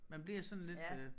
Man bliver sådan lidt øh